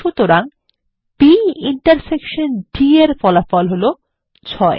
সুতরাং B intersection D এর ফলাফল হল ৬